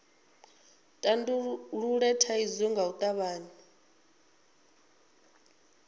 tandulule thaidzo nga u tavhanya